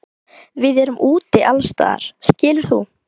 Við erum úti allsstaðar skilur þú?